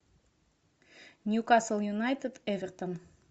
ньюкасл юнайтед эвертон